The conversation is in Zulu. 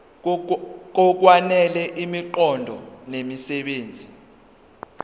ngokwanele imiqondo nemisebenzi